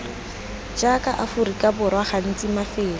jaaka aforika borwa gantsi mafelo